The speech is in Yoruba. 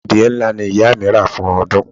Adìẹ ńlá ni ìyá mi rà fún ọdún.